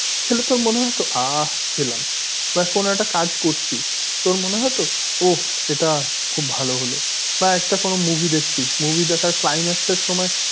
খেলে তোর মনে হতো আহ খেলাম বা কোনো একটা কাজ করছিস তোর মনে হতো ওফ এটা খুব ভালো হলো বা একটা কোনো movie দেখছিস movie দেখার climax এর সময়